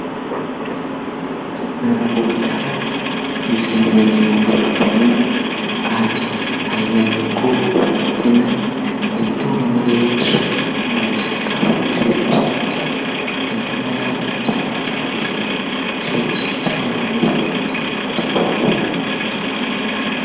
Fivarotana amoron-dàlana izay maneho fahavononana, ady ary ihany koa fanantenana mba hitovy amin'ny rehetra mba hisakafo ho velona soamantsara. Ny entana harantiny amin'izany anefa dia vitsy tsy maro anisa fa izay takatry ny vola ihany.